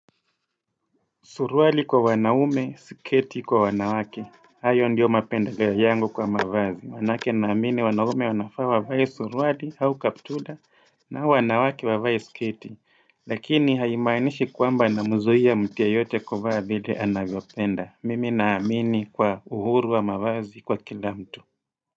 Suruali kwa wanaume sketi kwa wanawake. Hayo ndiyo mapendeleo yangu kwa mavazi. Maanake naamini wanaume wanafaa wavae suruali au kaptula na wanawake wavae sketi. Lakini haimaanishi kwamba namzuia mtu yoyote kuvaa vile anavyopenda. Mimi naamini kwa uhuru wa mavazi kwa kila mtu.